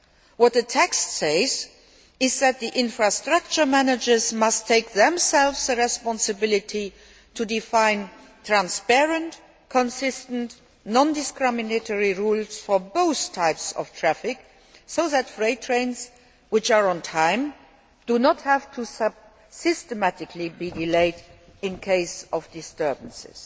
What the text says is that the infrastructure managers themselves must take the responsibility to define transparent, consistent, non discriminatory rules for both types of traffic so that freight trains which are on time do not have to be systematically delayed in case of disturbance.